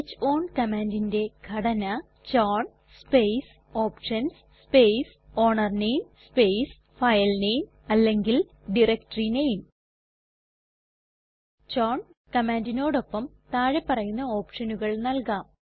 chown commandന്റെ ഘടന chown space options space ownername space filename അല്ലെങ്കിൽ ഡയറക്ടറിനേം ചൌൺ കമാൻഡിനോടൊപ്പം താഴെ പറയുന്ന ഓപ്ഷനുകൾ നൽകാം